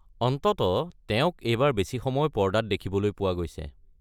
অন্ততঃ তেওঁক এইবাৰ বেছি সময় পৰ্দাত দেখিবলৈ পোৱা গৈছে।